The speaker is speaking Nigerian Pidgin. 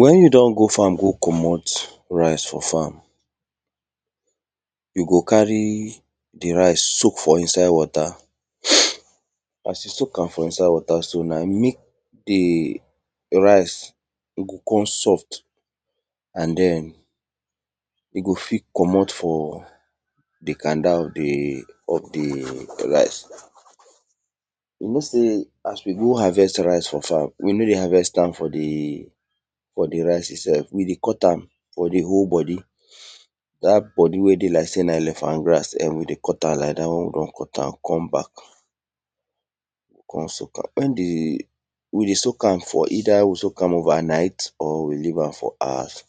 Wen you don go farm go commot rice for farm, you go carry di rice soak for inside water as you soak am for inside water so na mek di rice go kon soft and den we go fit commot for di canda of di rice. You know sey aswe go harvest rice for farm, we no dey harvest am from di rice itself, we dey cut am with di whole bodi dat bodi wey dey lik elephant grass, we dey cut am, we dey soak am. Wen di we either soak am over night or we leave am for hours.